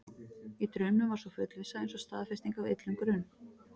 Í draumnum var sú fullvissa eins og staðfesting á illum grun.